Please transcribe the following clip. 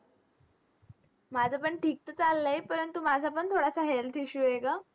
माझंपण ठीक तर चाललंय, परंतु माझा पण थोडासा health issue आहे गं.